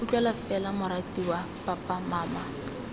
utlwala fela moratiwa papa mama